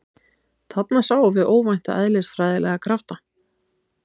Þarna sáum við óvænta eðlisfræðilega krafta